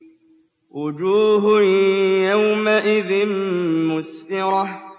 وُجُوهٌ يَوْمَئِذٍ مُّسْفِرَةٌ